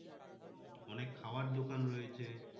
অনেক খাওয়ার দোকান রয়েছে।